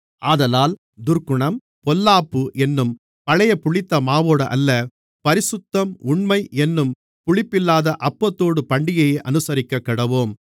ஆதலால் துர்க்குணம் பொல்லாப்பு என்னும் பழைய புளித்தமாவோடு அல்ல பரிசுத்தம் உண்மை என்னும் புளிப்பில்லாத அப்பத்தோடு பண்டிகையை அனுசரிக்கக்கடவோம்